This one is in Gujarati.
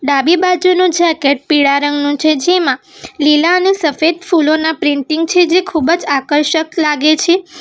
ડાબી બાજુનો જેકેટ પીળા રંગનું છે જેમાં લીલા અને સફેદ ફૂલોના પ્રિન્ટિંગ છે જે ખૂબ જ આકર્ષક લાગે છે.